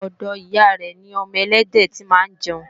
ọ̀dọ̀ ìyá rẹ̀ lọmọ ẹlẹ́dẹ̀ tí máa ń jẹun